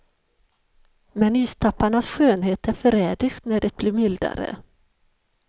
Men istapparnas skönhet är förrädisk när det blir mildare.